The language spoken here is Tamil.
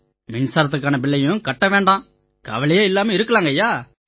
மின்சாரத்துக்கான பில்லையும் கட்ட வேண்டாம் கவலையே இல்லாம இருக்கலாம்யா